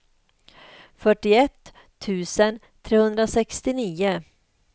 fyrtioett tusen trehundrasextionio